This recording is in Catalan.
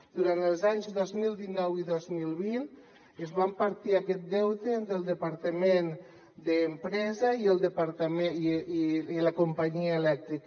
durant els anys dos mil dinou i dos mil vint es van partir aquest deute entre el departament d’empresa i la companyia elèctrica